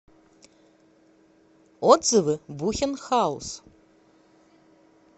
отзывы бухен хаус